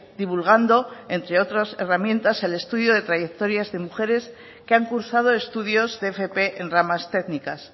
divulgando entre otras herramientas el estudio de trayectorias de mujeres que han cursado estudios de fp en ramas técnicas